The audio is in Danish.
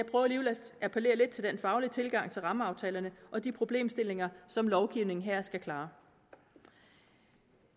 appellere lidt til den faglige tilgang til rammeaftalerne og de problemstillinger som lovgivningen her skal klare